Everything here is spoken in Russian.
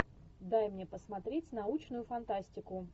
дай мне посмотреть научную фантастику